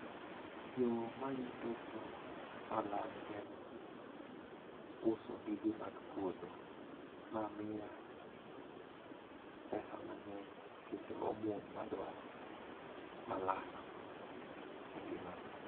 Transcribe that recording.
yoo mayuto go malang' en uso gige mag puodho. Ma miya pesa mang'eny kendo omwom maduaro malang' e ngimana.